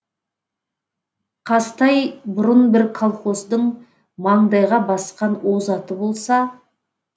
қазтай бұрын бір колхоздың маңдайға басқан озаты болса